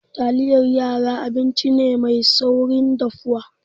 Taliyar yara abinci ne mai saurin dafuwa.